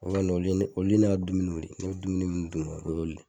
O kɔni olu ye olu ye ne ka dumuniw de bɛ dumuni minnu dun o y'olu don oli.